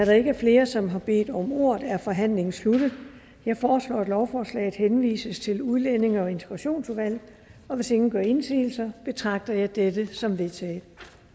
der ikke er flere som har bedt om ordet er forhandlingen sluttet jeg foreslår at lovforslaget henvises til udlændinge og integrationsudvalget hvis ingen gør indsigelse betragter jeg dette som vedtaget